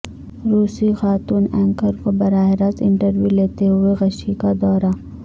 روسی خاتون اینکر کو براہ راست انٹرویو لیتے ہوئے غشی کا دورہ